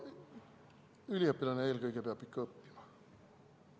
Üliõpilane peab eelkõige ikka õppima.